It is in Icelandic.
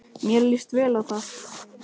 Mér líst vel á þetta.